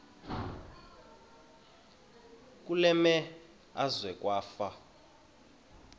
kule meazwe kwafa